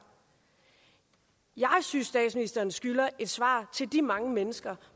jeg synes statsministeren skylder et svar til de mange mennesker